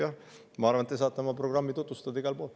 Ja ma arvan, et te saate oma programmi tutvustada igal pool.